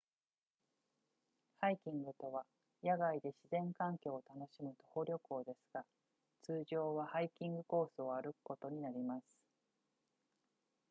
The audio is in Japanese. ハイキングとは野外で自然環境を楽しむ徒歩旅行ですが通常はハイキングコースを歩くことになります